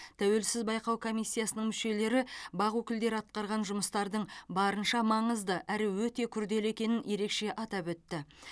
тәуелсіз байқау комиссиясының мүшелері бақ өкілдері атқарған жұмыстардың барынша маңызды әрі өте күрделі екенін ерекше атап өтті